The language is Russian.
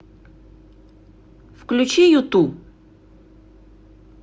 включи юту